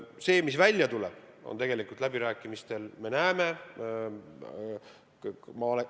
Eks me näe, mis tegelikult läbirääkimistel välja tuleb.